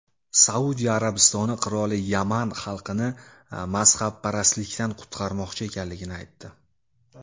Saudiya Arabistoni qiroli Yaman xalqini mazhabparastlikdan qutqarmoqchi ekanligini aytdi.